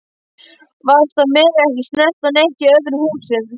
Verst að mega ekki snerta neitt í öðrum húsum.